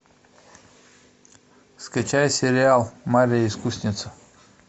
скачай сериал марья искусница